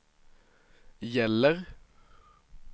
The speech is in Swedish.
gäller